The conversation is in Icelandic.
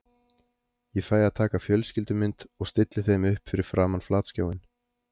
Ég fæ að taka fjölskyldumynd og stilli þeim upp fyrir framan flatskjáinn.